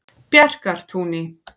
Bjarkartúni